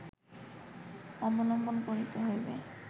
অবলম্বন করিতে হইবে